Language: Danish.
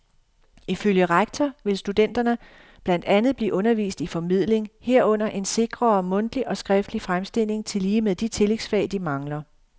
Ifølge rektor vil studenterne blandt andet blive undervist i formidling, herunder en sikrere mundtlig og skriftlig fremstilling tillige med de tillægsfag, de mangler.